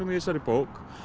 í þessari bók